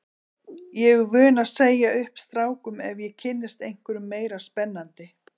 Ég er vön að segja upp strákum ef ég kynnist einhverjum meira spennandi.